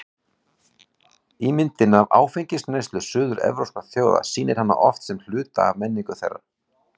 Ímyndin af áfengisneyslu suður-evrópskra þjóða sýnir hana oft sem hluta af menningu þeirra.